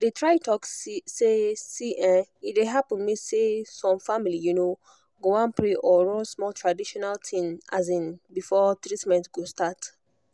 i dey try talk say see[um]e dey happen say some family um go wan pray or run small traditional thing um before treatment go start.